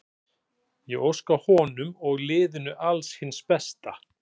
Ég óska honum og liðinu alls hins besta.